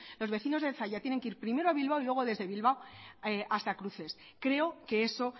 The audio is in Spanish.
los vecinos de zalla tienen que ir primero a bilbao y luego desde bilbao hasta cruces creo que eso